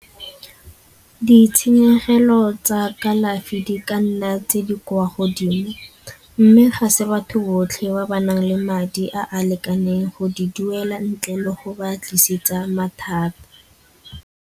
Ditshenyegelo tsa kalafi di ka nna tse di kwa godimo mme ga se batho botlhe ba ba nang le madi a a lekaneng go di duela ntle le go ba tlisetsa mathata.